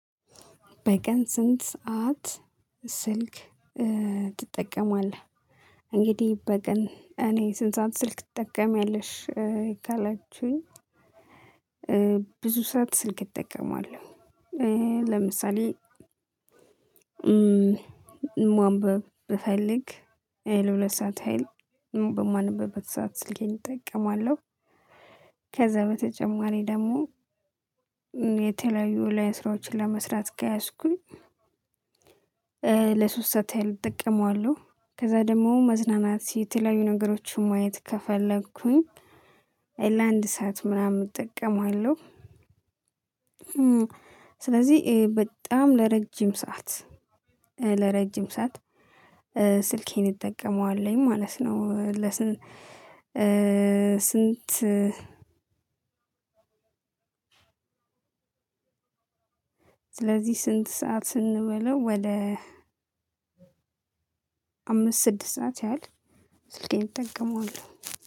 በቀን ስንት ሰዓት? ስልክ ትጠቀማለህ እንግዲህ በቀን እኔ ስንት ሰዓት ስልክ ትጠቀሚያለሽ ካላችሁኝ። ብዙ ስዐት ስልክ እጠቀማለው። ለምሳሌማንበብ ብፈልግ ለ ሁለት ሰዓት ያህል በማነብበት ሰዓት ስልኬን እጠቀማለው። ከዛ በተጨማሪ ደግሞ የተለያዩ የ ኦንላይን ስራዎችን ለመስራት ከያስኩኝ። ለ ሶስት ሰዓት ያህል እጠቀመዋለው። ከዛ ደግሞ መዝናናት የተለያዩ ነገሮችን ማየት ከፈለኩኝ። ለ አንድ ሰዓት ምናምን እጠቀመዋለው። ስለዚህ በጣም ለረዥም ሰዓት ለረዥም ሰዓት ስልኬን እጠቀመዋለው ማለት ነው። ለስንት ስንት? ስለዚህ ስንት ሰዓት እንበለው ወደ አምስት ስድስት ሰዓት ያህል ስልኬን እጠቀመዋለሁ።